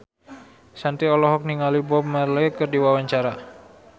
Shanti olohok ningali Bob Marley keur diwawancara